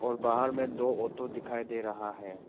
और बाहर में दो ऑटो दिखाई दे रहा है।